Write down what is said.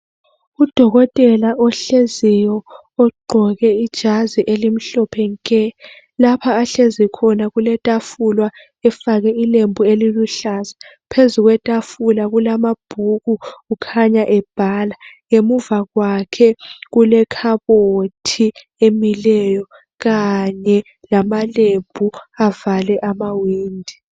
Udokotela ohleziyo ogqoke ijazi elimhlophe nke. Lapha ahlezi khona kuletafula efakwe ilembu eliluhlaza phezu kwetafula kulamabhuku kukhanya ebhala. Ngemuva kwakhe kule khabothi emileyo kanye lamalembu avale amawindi.